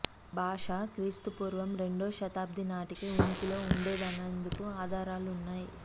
భాష క్రీస్తుపూర్వం రెండో శతాబ్ది నాటికే ఉనికిలో ఉండేదనేందుకు ఆధారాలు ఉన్నాయి